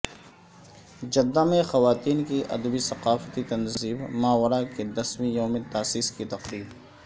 Jeddah میں خواتین کی ادبی ثقافتی تنظیم ماورا کے دسویں یوم تاسیس کی تقریب